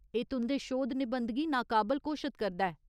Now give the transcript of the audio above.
एह् तुं'दे शोध निबंध गी नाकाबल घोशत करदा ऐ।